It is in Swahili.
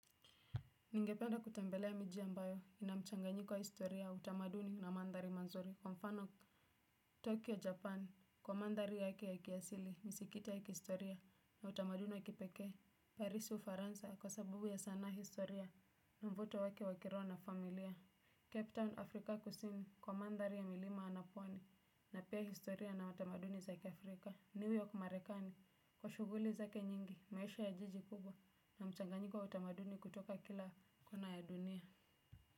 Ningependa kutembelea miji ambayo inamchanganyiko wa historia utamaduni na mandhari manzuri. Kwa mfano, Tokyo, Japan, kwa mandhari yake ya kiasili, misiki ya kihistoria, na utamaduni wa kipekee. Parisi, ufaransa, kwa sababu ya sana historia, na mvuto wake wakiroho na familia. Captain Africa Kusini, kwa mandhari ya milima na pwani, na pia historia na tamaduni zake Afrika. New Yorko marekani kwa shughuli zake nyingi maisha ya jiji kubwa na mchanganyiko wa utamaduni kutoka kila kuna ya dunia.